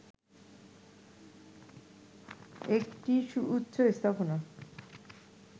একটি সুউচ্চ স্থাপনা